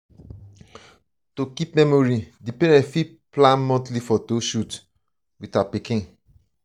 to keep memories di parents fit plan monthly photo shoot with their pikin